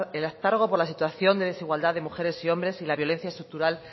el hartazgo por la situación de desigualdad de mujeres y hombres y la violencia estructural